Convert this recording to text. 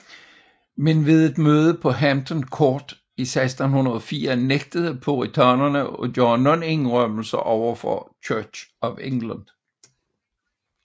Men ved et møde på Hampton Court i 1604 nægtede puritanerne at gøre nogen indrømmelser overfor Church of England